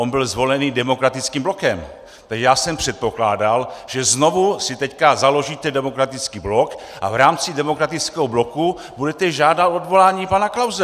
On byl zvolený demokratickým blokem, takže já jsem předpokládal, že znovu si teď založíte demokratický blok a v rámci demokratického bloku budete žádat odvolání pana Klause.